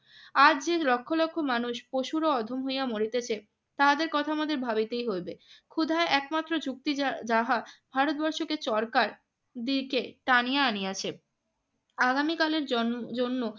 আজ যে লক্ষ লক্ষ মানুষ পশুর অধম হইয়া মরিতেছে তাদের কথা আমাদের ভাবিতেই হইবে। ক্ষুধা একমাত্র চুক্তি যা~ যাহা ভারতবর্ষকে চরকার দিকে টানিয়া আনিয়াছে। আগামীকালের জন~ জন্য